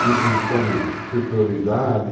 De imposição de superioridade.